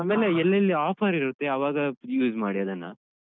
ಅಮೇಲೆ ಎಲ್ಲೆಲ್ಲಿ offer ಇರುತ್ತೆ ಅವಾಗ ಅಹ್ use ಮಾಡಿ ಅದನ್ನ.